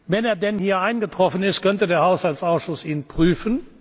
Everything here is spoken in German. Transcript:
Wenn er denn hier eingetroffen ist, könnte der Haushaltsausschuss ihn